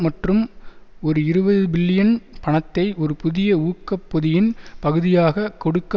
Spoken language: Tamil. மற்றும் ஒரு இருபது பில்லியன் பணத்தை ஒரு புதிய ஊக்க பொதியின் பகுதியாக கொடுக்க